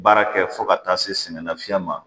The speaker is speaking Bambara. Baara kɛ fo ka taa se sɛgɛnna fiɲɛ ma